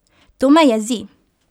To me jezi!